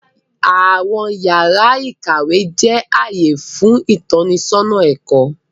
Awọn yàrà ìkàwé jẹ ààyè fún itọnisọna ẹkọ.